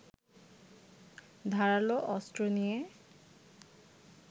ধারালো অস্ত্র নিয়ে